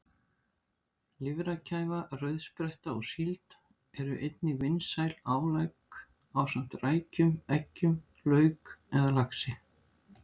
Lifrarkæfa, rauðspretta og síld eru einnig vinsæl álegg ásamt rækjum, eggjum, lauk eða laxi.